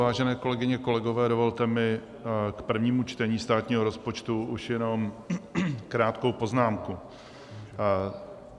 Vážené kolegyně, kolegové, dovolte mi k prvnímu čtení státního rozpočtu už jenom krátkou poznámku.